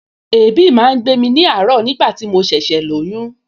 Èébì máa ń gbé ní àárọ̀ nigbati mo ṣẹ̀ṣẹ̀ lóyún